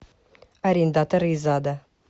арендаторы из ада